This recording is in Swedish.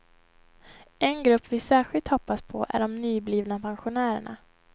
En grupp vi särskilt hoppas på är de nyblivna pensionärerna.